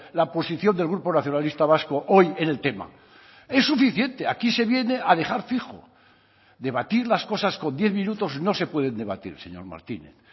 la posición del grupo nacionalista vasco hoy en el tema es suficiente aquí se viene a dejar fijo debatir las cosas con diez minutos no se pueden debatir señor martínez